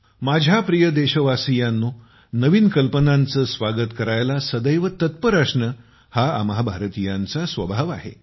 माझ्या प्रिय देशवासियांनो नवीन कल्पनांचे स्वागत करण्यास सदैव तत्पर असणे हा आम्हा भारतीयांचा स्वभाव आहे